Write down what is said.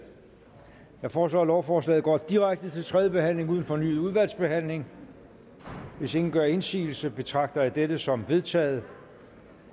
jeg foreslår at lovforslaget går direkte til tredje behandling uden fornyet udvalgsbehandling hvis ingen gør indsigelse betragter jeg dette som vedtaget